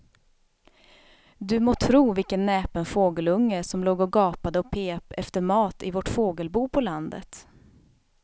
Du må tro vilken näpen fågelunge som låg och gapade och pep efter mat i vårt fågelbo på landet.